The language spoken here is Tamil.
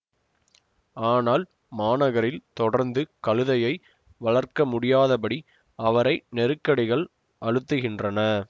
ஆனால் மாநகரில் தொடர்ந்து கழுதையை வளர்க்கமுடியாதபடி அவரை நெருக்கடிகள் அழுத்துகின்றன